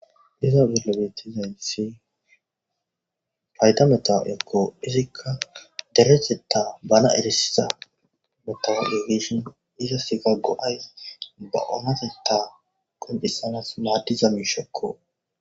Iza dilebetizaynthi fayta meta ekko izikka dereheta bana erisiza metao efishin iza sika go7ays ba oonaseta koncissanas maaddiza miishekko.